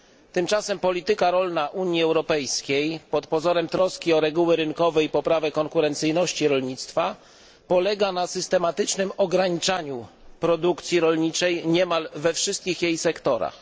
Tymczasem polityka rolna Unii Europejskiej pod pozorem troski o reguły rynkowe i poprawę konkurencyjności rolnictwa polega na systematycznym ograniczaniu produkcji rolniczej niemal we wszystkich jej sektorach.